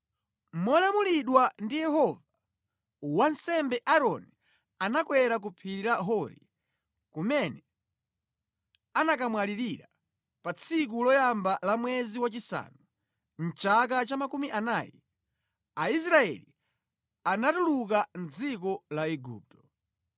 Molamulidwa ndi Yehova, wansembe Aaroni anakwera ku phiri la Hori kumene anakamwalirira pa tsiku loyamba la mwezi wachisanu, mʼchaka cha makumi anayi, Aisraeli atatuluka mʼdziko la Igupto.